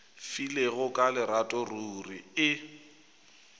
filego ka lerato ruri e